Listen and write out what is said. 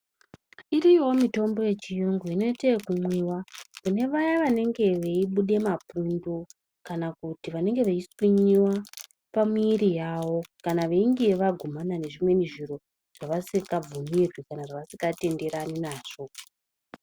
Iriyoo mitombo ye chiyungu ino ite yeku mwiwa kune vaya vanenge vei bude mapundu kana kuti vanenge vei swinyiwa pa mwiri yavo kana veinge vagumana nezvimweni zviro vasika bvumirwi kana vasinga tenderani nazvo.